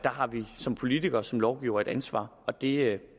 har vi som politikere og som lovgivere et ansvar og det